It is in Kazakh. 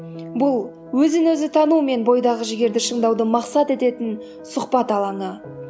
бұл өзін өзі тану мен бойдағы жігерді шыңдауды мақсат ететін сұхбат алаңы